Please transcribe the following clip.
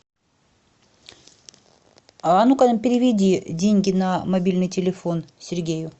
а ну ка переведи деньги на мобильный телефон сергею